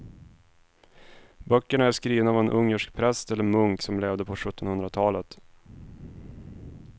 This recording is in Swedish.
Böckerna är skrivna av en ungersk präst eller munk som levde på sjuttonhundratalet.